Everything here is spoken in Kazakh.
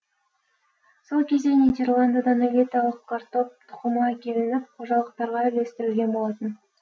сол кезде нидерландыдан элиталық картоп тұқымы әкелініп қожалықтарға үлестірілген болатын